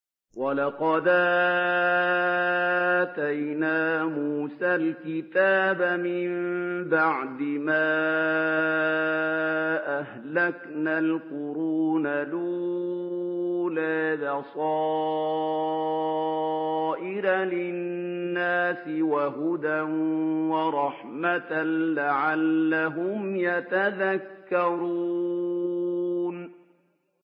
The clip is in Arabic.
وَلَقَدْ آتَيْنَا مُوسَى الْكِتَابَ مِن بَعْدِ مَا أَهْلَكْنَا الْقُرُونَ الْأُولَىٰ بَصَائِرَ لِلنَّاسِ وَهُدًى وَرَحْمَةً لَّعَلَّهُمْ يَتَذَكَّرُونَ